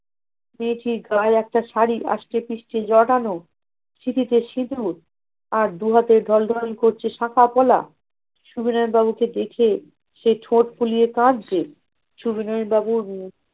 ছি ছি গায়ে একটা শাড়ি আস্টে পিষ্টে জড়ানো! সিঁথিতে সিঁদুর আর দু হাতে দন্ডায়মান করছে শাখা-পলা! সবিনয় বাবু তো দেখে সেই ঠোঁট ফুলিয়ে কাঁদছে! সবিনয় বাবুর~